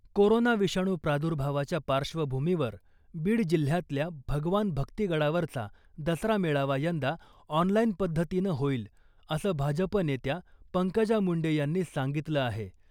Corona विषाणू प्रादुर्भावाच्या पार्श्वभूमीवर बीड जिल्ह्यातल्या भगवान भक्तिगडावरचा दसरा मेळावा यंदा ऑनलाईन पद्धतीनं होईल , असं भाजप नेत्या पंकजा मुंडे यांनी सांगितलं आहे .